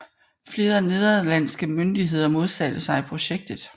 Flere nederlandske myndigheder modsatte sig projektet